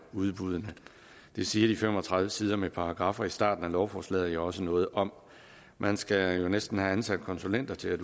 udbuddene det siger de fem og tredive sider med paragraffer i starten af lovforslaget jo også noget om man skal jo næsten have ansat konsulenter til at